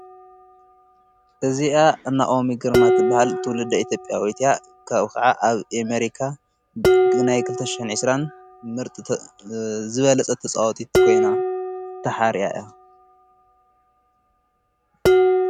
እዚኣ እናኦሚ ግርማት ትበሃል ትውልዳ ኢትዮጵያ ያ ካብ ኸዓ ኣብ አሜሪካ ግና ክልተ ሸሕንዕስራን ምርጥ ዝበለጸት ተጓሳጢት ኾይና ተሓርያ እያ።